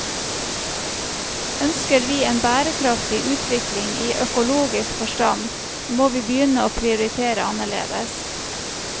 Ønsker vi en bærekraftig utvikling i økologisk forstand, må vi begynne å prioritere annerledes.